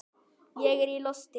Ég er í losti.